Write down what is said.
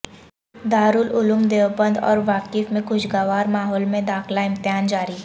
دارالعلوم دیوبند اور وقف میں خوشگوار ماحول میں داخلہ امتحان جاری